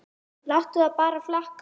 Láttu það bara flakka!